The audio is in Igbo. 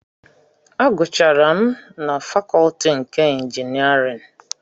Agụcharụ m na fakọtị nke ịnjinierịn